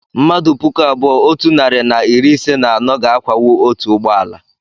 mmmadụ puku abụọ otu narị na iri ise na anọ ga-akwawu otu ụgbọ ala